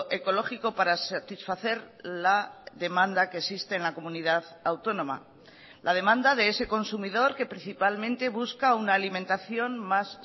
ecológico para satisfacer la demanda que existe en la comunidad autónoma la demanda de ese consumidor que principalmente busca una alimentación más